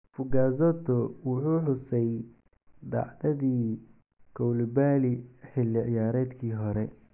Fugazzotto wuxuu xusay dhacdadii Koulibaly xilli ciyaareedkii hore.